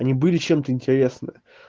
они были чем-то интересны